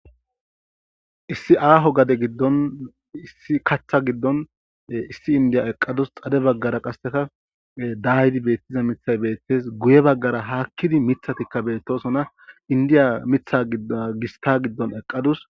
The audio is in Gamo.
issi aaho gade giddon issi kacha giddon issi indiya eqadus xade baggara qasseka daaydi beettiza mithay beettes guye baggara haakkidi mithatikka beettosona indiya mitha gidd gista giddon eqqadus